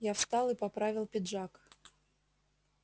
я встал и поправил пиджак